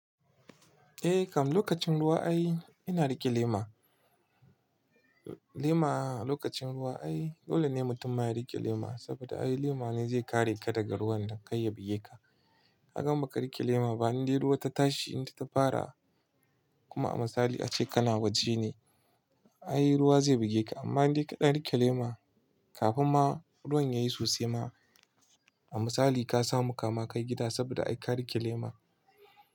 Eh kam lokacin ruwa ai ina rike lema. Lema a lokacin ruwa ai dole ne mutum ma ya rike lema saboda ai lema ne zai kare ka daga ruwan da kai ya buge ka. Kaga in baka rike lema bani dai ruwa ta tashi in ta fara kuma a misali ace kana waje ne. Ai ruwa zai buge ka amma dai ka dan rike lema kafin ma ruwan yayi sosai ma a misali ka samu kama kai gida saboda ai ka rike lema.